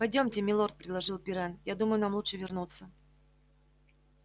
пойдёмте милорд предложил пиренн я думаю нам лучше вернуться